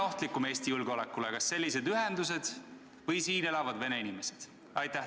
Kummad on Eesti julgeolekule ohtlikumad, kas sellised ühendused või siin elavad vene inimesed?